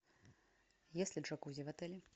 есть ли джакузи в отеле